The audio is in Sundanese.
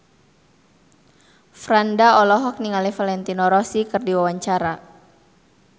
Franda olohok ningali Valentino Rossi keur diwawancara